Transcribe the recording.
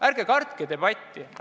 Ärge kartke debatti!